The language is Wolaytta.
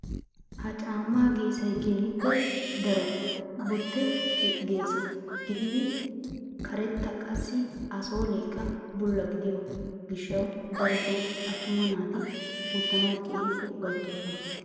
Ha caammaa geessay keehippe daro botte keessa gididi karetta qassi a sooleekka bulla gidiyoo gishshawu darotoo attuma naati wottanaw keehippe upayttoosona.